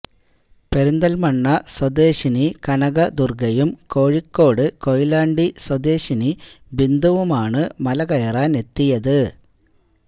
പെരുന്തല്മണ്ണ സ്വദേശിനി കനക ദുര്ഗ്ഗയും കോഴിക്കോട് കോയിലാണ്ടി സ്വദേശിനി ബിന്ദുവുമാണ് മലകയറാനെത്തിയത്